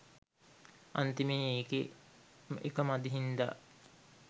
අන්තිමේ එකේ එක මදි හින්දා